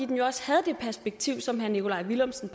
den jo også havde det perspektiv som herre nikolaj villumsen